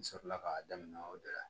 N sɔrɔla k'a daminɛ o de la